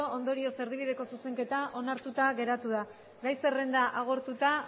ondorioz erdibideko zuzenketa onartuta geratu da gai zerrenda agortuta